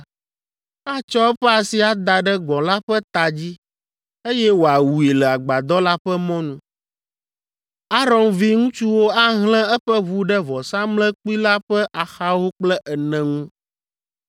atsɔ eƒe asi ada ɖe gbɔ̃ la ƒe ta dzi, eye wòawui le Agbadɔ la ƒe mɔnu. Aron viŋutsuwo ahlẽ eƒe ʋu ɖe vɔsamlekpui la ƒe axawo kple ene ŋu,